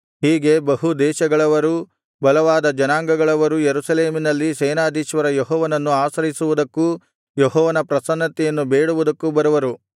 ಹೀಗೆ ಬಹು ದೇಶಗಳವರೂ ಬಲವಾದ ಜನಾಂಗಗಳವರೂ ಯೆರೂಸಲೇಮಿನಲ್ಲಿ ಸೇನಾಧೀಶ್ವರ ಯೆಹೋವನನ್ನು ಆಶ್ರಯಿಸುವುದಕ್ಕೂ ಯೆಹೋವನ ಪ್ರಸನ್ನತೆಯನ್ನು ಬೇಡುವುದಕ್ಕೂ ಬರುವರು